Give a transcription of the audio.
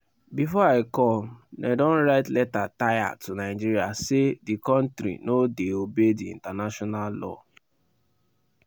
bifor i come dem don write letter tire to nigeria say di kontri no dey obey di international law.